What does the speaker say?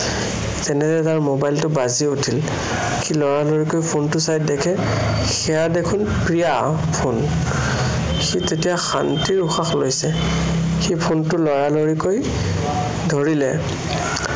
তেনেতে তাৰ mobile টো বাজি উঠিল। সি লৰালৰিকৈ phone টো চাই দেখে সেয়া দেখোন প্ৰিয়াৰ phone । সি তেতিয়া শান্তিৰ উশাহ লৈছে। সি phone টো লৰালৰিকৈ ধৰিলে।